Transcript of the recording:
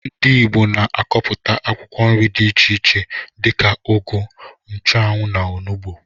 Ndị ìgbo na akọpụta akwụkwọ nri dị iche iche dika ụgụ, nchuanwu, na ọnụgbu.